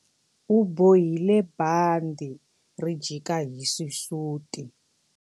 U bohile bandhi ri jika hi xisuti.